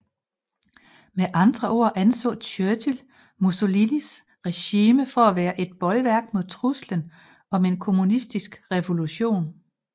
Med andre ord anså Churchill Mussolinis regime for at være et bolværk mod truslen om en kommunistisk revolution